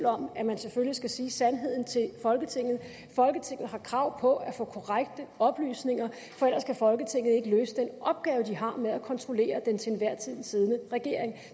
om at man selvfølgelig skal sige sandheden til folketinget folketinget har krav på at få korrekte oplysninger for ellers kan folketinget ikke løse den opgave de har med at kontrollere den til enhver tid siddende regering